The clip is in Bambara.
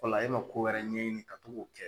Wala e ma ko wɛrɛ ɲɛɲini ka to k'o kɛ